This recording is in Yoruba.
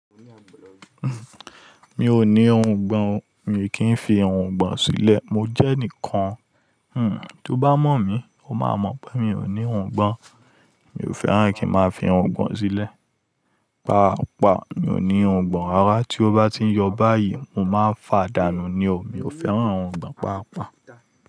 Mi ò ní irùngbọ̀n o, mi kì í fi irùngbọ̀n sílẹ̀. Mo jẹ́ ẹnìkan tí ó bá mọ̀ mí, ó máa mọ̀ pé mi ò ní irùngbọ̀n o. Mi ò fẹ́ràn kí n máa fi irùngbọ̀n sílẹ̀. Pa àpá, mi ò ní irùngbọ̀n. Ara tí ó bá ti ń yọ báyìí, mo máa fàa dánù ni o. Mi ò fẹ́ràn òǹgbọ̀n pa àpá.